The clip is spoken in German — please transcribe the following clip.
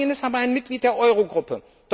Spanien ist aber ein Mitglied der Eurogruppe.